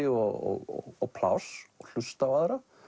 og pláss og hlusta á aðra